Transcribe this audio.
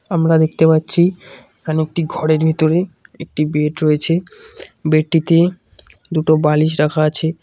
আমরা দেখতে পাচ্ছি এখানে একটি ঘরের ভিতরে একটি বেড রয়েছে বেডটিতে দুটো বালিশ রাখা আছে।